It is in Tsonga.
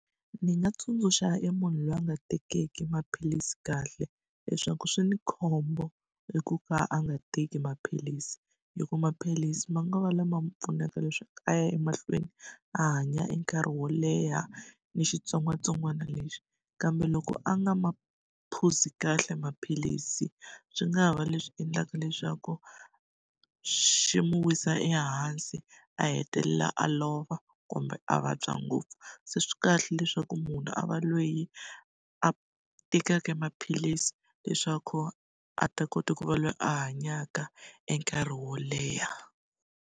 Ndzi nga tsundzuxa emunhu loyi a nga tekiki maphilisi kahle leswaku swi ni khombo i ku va a nga teki maphilisi hi ku maphilisi ma nga va lama ma n'wi pfunaka leswaku a ya emahlweni a hanya enkarhi wo leha ni xitsongwatsongwana lexi, kambe loko a nga ma phuzi kahle maphilisi swi nga ha va leswi endlaka leswaku xi n'wi wisa ehansi, a hetelela a lova, kumbe a vabya ngopfu. Se swi kahle leswaku munhu a va loyi a tekaka maphilisi leswaku a ta kota ku va loyi a hanyaka enkarhi wo leha.